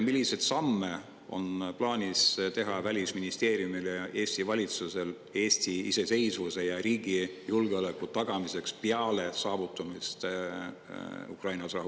Milliseid samme on plaanis teha Välisministeeriumil ja Eesti valitsusel Eesti iseseisvuse ja riigi julgeoleku tagamiseks peale Ukrainas rahu saavutamist?